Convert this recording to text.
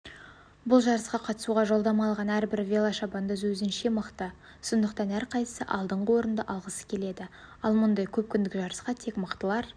бұл жарысқа қатысуға жолдама алған әрбір велошабандоз өзінше мықты сондықтан әрқайсысы алдыңғы орын алғысы келеді ал мұндай көпкүндік жарысқа тек мықтылар